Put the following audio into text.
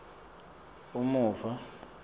umuva